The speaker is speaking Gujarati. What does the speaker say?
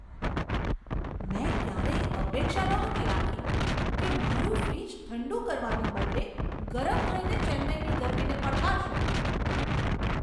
મેં ક્યારેય અપેક્ષા નહોતી રાખી કે મારું ફ્રિજ ઠંડું કરવાને બદલે ગરમ થઈને ચેન્નાઈની ગરમીને પડકારશે!